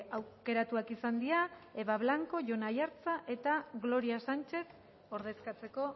aukeratuak izan dira eva blanco jon aiartza eta gloria sánchez ordezkatzeko